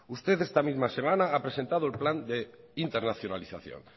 ustedes esta misma semana ha presentado el plan de internacionalización